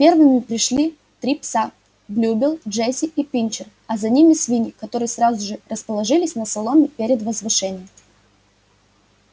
первыми пришли три пса блюбелл джесси и пинчер а за ними свиньи которые сразу же расположились на соломе перед возвышением